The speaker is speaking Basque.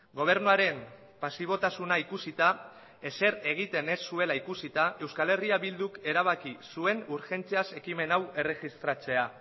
gobernuaren pasibotasuna ikusita ezer egiten ez zuela ikusita euskal herria bilduk erabaki zuen urgentziaz ekimen hau erregistratzea